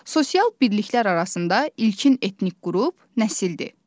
Sosial birliklər arasında ilkin etnik qrup nəsildir.